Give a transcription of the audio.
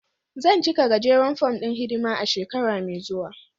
Zan cika gajeren fom ɗin hidima a shekara mai zuwa.